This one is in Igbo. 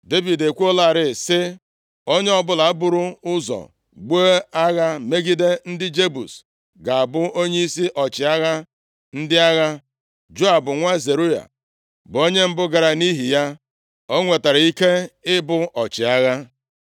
Devid ekwuolarị sị, “Onye ọbụla buru ụzọ buo agha megide ndị Jebus ga-abụ onyeisi ọchịagha ndị agha.” Joab nwa Zeruaya bụ onye mbụ gara, nʼihi ya, o nwetara ike ịbụ ọchịagha.